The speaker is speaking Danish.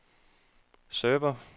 server